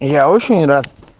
я очень рад